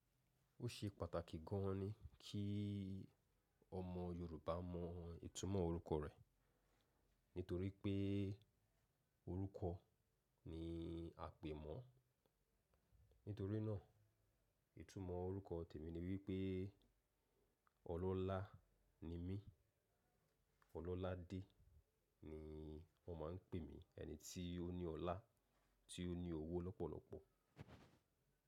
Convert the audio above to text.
Ó ṣe pàtàkì gan ni kí ọmọ Yorùbá mọ ìtumọ̀ orúkọ rẹ̀ nítorí pé orúkọ ni àpè mọ́. Nítorí náà ìtumọ̀ orúkọ tèmi ni wípé ọlọ́lá ni mí, ọlọ́láadé ni wón máa ń pè mí, ẹni tí ó ní ọlá, tí ó ní owó lọ́pọ̀lọ́pọ̀.